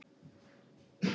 Ég tel þann tíma ekki með.